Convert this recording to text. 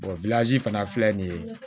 fana filɛ nin ye